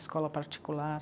Escola particular.